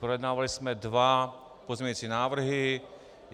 Projednávali jsme dva pozměňovací návrhy.